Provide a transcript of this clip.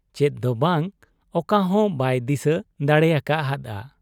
ᱪᱮᱫ ᱫᱚ ᱵᱟᱝ ᱚᱠᱟᱦᱚᱸ ᱵᱟᱭ ᱫᱤᱥᱟᱹ ᱫᱟᱲᱮ ᱟᱠᱟ ᱦᱟᱫ ᱟ ᱾